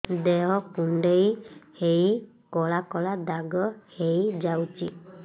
ଦେହ କୁଣ୍ଡେଇ ହେଇ କଳା କଳା ଦାଗ ହେଇଯାଉଛି